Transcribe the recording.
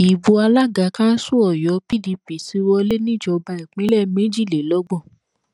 ibo alága kanṣu ọyọ pdp ti wọlé níjọba ìbílẹ méjìlélọgbọn